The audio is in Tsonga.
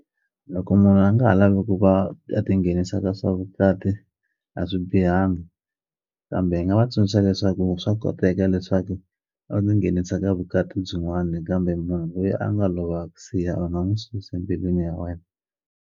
Loko munhu a nga ha lavi ku va a ti nghenisa ka swa vukati a swi bihanga kambe hi nga va tsundzuxa leswaku swa koteka leswaku a tinghenisa ka vukati byin'wani kambe munhu lweyi a nga lova a ku siya u nga n'wu susi mbilwini ya wena.